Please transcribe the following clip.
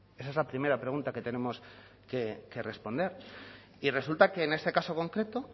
esa es la primera pregunta que tenemos que responder y resulta que en este caso concreto